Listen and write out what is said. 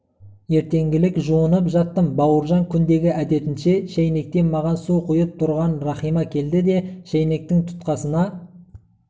ертеңгілік жуынып жаттым бауыржан күндегі әдетінше шайнектен маған су құйып тұрған рахима келді де шайнектің тұтқасына